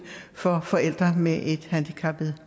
for forældre med et handicappet